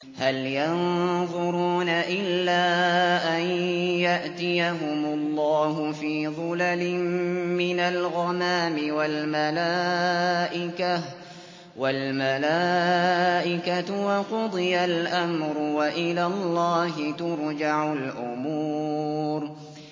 هَلْ يَنظُرُونَ إِلَّا أَن يَأْتِيَهُمُ اللَّهُ فِي ظُلَلٍ مِّنَ الْغَمَامِ وَالْمَلَائِكَةُ وَقُضِيَ الْأَمْرُ ۚ وَإِلَى اللَّهِ تُرْجَعُ الْأُمُورُ